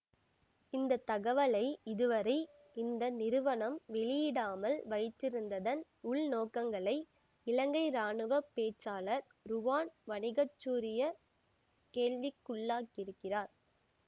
இந்த தகவலை இது வரை இந்த நிறுவனம் வெளியிடாமல் வைத்திருந்ததன் உள்நோக்கங்களை இலங்கை ராணுவ பேச்சாளர் ருவான் வணிக சூரிய கேள்விக்குள்ளாக்கியிருக்கிறார்